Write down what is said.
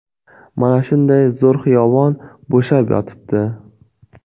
Mana shunday zo‘r xiyobon bo‘shab yotibdi.